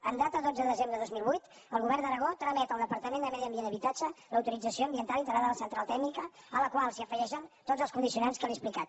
en data de dotze de desembre de dos mil vuit el govern d’aragó tramet al departament de medi ambient i habitatge l’autorització ambiental integrada a la central tèrmica a la qual s’afegeixen tots els condicionants que li he explicat